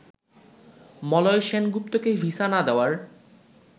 মলয় সেনগুপ্তকে ভিসা না দেওয়ার